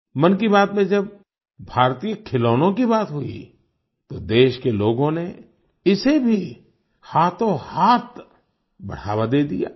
मन की बात में जब भारतीय खिलौनों की बात हुई तो देश के लोगों नेइसे भी हाथोंहाथ बढ़ावा दे दिया